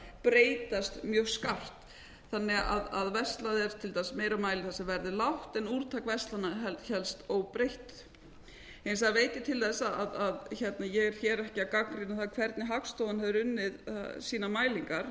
breytast mjög skarpt þannig að verslað er til dæmis meira mæli þar sem verð er lágt en úrtak verslana hélst óbreytt hins vegar veit ég til þess að ég er hér ekki að gagnrýna það hvernig hagstofan hefur unnið sínar mælingar ég held